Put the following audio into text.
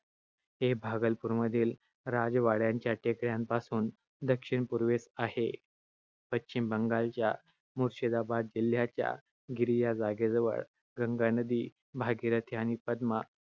हे भागलपूर मधील राजवाड्याच्या टेकड्यांपासून दक्षिण-पूर्वेस आहे. पश्चिम बंगालच्या मुर्शिदाबाद जिल्ह्याच्या गिरिया जागेजवळ, गंगा नदी भागीरथी आणि पद्मा